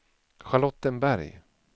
Charlottenberg